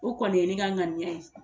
O kɔni ye ne ka ŋaniya ye